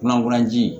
Kunnafoni ji